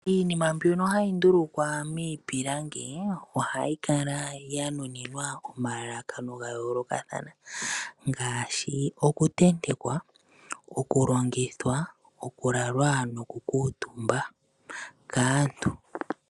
Iinima mbyono hayi ndulukwa miipilangi ohayi kala ya nuninwa omalalakano ga yoolokathana ngaashi okutentekwa, oku longithwa, okulalwa, noku kuutumba kaantu.